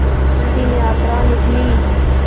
अंतिम यात्रा निकली